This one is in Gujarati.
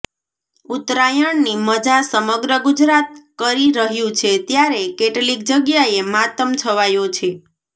ઉત્તરાયણની મજા સમગ્ર ગુજરાત કરી રહ્યું છે ત્યારે કેટલીક જગ્યાએ માતમ છવાયો છે